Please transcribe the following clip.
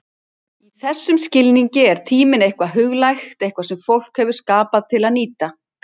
Í þessum skilningi er tíminn eitthvað huglægt, eitthvað sem fólk hefur skapað til að nýta.